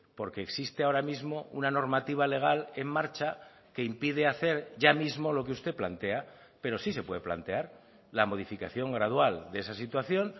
porque existe ahora mismo una normativa legal en marcha que impide hacer ya mismo lo que usted plantea pero sí se puede plantear la modificación gradual de esa situación